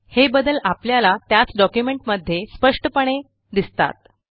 हे बदल आपल्याला त्याच डॉक्युमेंटमध्ये स्पष्टपणे दिसतात